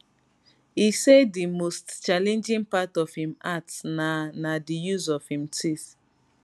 e say di most challenging part of im art na na di use of im teeth